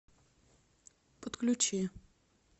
подключи